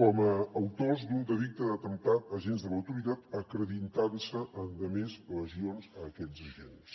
com a autors d’un delicte d’atemptat a agents de l’autoritat acreditant se endemés lesions a aquests agents